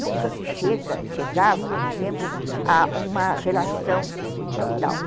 Nunca se chega, chegava, naquele tempo, a uma relação total.